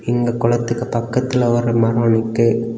இந்த கொலத்துக்கு பக்கத்துல ஒரு மரம் நிக்கு.